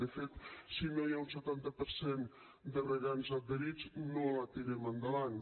de fet si no hi ha un setanta per cent de regants adherits no la tirem endavant